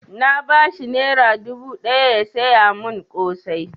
Na ba shi naira dubu ɗaya ya saya mun ƙosai